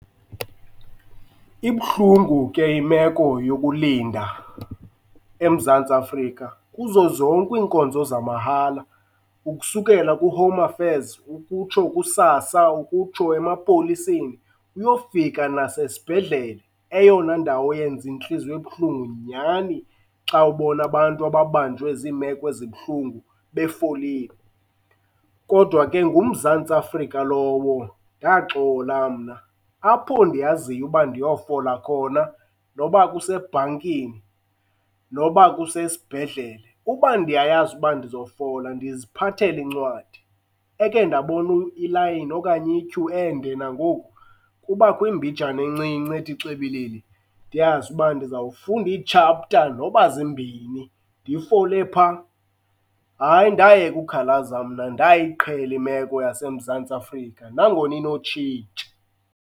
Ibuhlungu ke imeko yokulinda eMzantsi Afrika kuzo zonke iinkonzo zamahala ukusukela kuHome Affairs, ukutsho kuSASSA, ukutsho emapoliseni, uyokufika nasesibhedlele, eyona ndawo yenza intliziyo ebuhlungu nyhani xa ubona abantu ababanjwe ziimeko ezibuhlungu befolile. Kodwa ke nguMzantsi Afrika lowo, ndaxola mna. Apho ndiyaziyo uba ndiyofola khona noba kusebhankini, noba kusesibhedlele, uba ndiyayazi uba ndizofola ndiziphathela incwadi. Eke ndaboni layini okanye ityhu ende nangoku, kubakho imbijana encinci, ethi xibilili, ndiyazi uba ndizafundi ii-chapter noba zimbini ndifole phaa. Hayi, ndayeka ukhalaza mna, ndayiqhela imeko yaseMzantsi Afrika nangona inotshintsha.